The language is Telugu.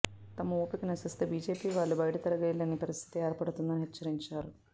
తమ ఓపిక నశిస్తే బీజేపీ వాళ్లు బయట తిరగలేని పరిస్థితి ఏర్పడుతుందని హెచ్చరించారు